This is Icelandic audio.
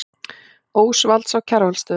Ósvalds á Kjarvalsstöðum.